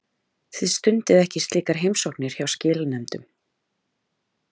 Þið stundið ekki slíkar heimsóknir hjá skilanefndunum?